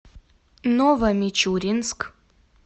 новомичуринск